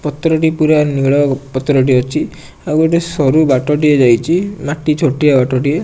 ପତ୍ର ଟି ପୁରା ନୀଳ ପତର ଟି ଅଛି ଆଉ ଗୋଟିଏ ସରୁ ବାଟ ଟିଏ ଯାଇଛି ମାଟି ଛୋଟିଆ ବାଟ ଟିଏ।